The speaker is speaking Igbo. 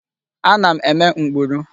Ana m eme mkpuru.